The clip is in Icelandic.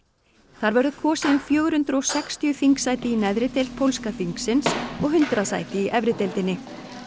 þar verður kosið um fjögur hundruð og sextíu þingsæti í neðri deild pólska þingsins og hundrað sæti í efri deildinni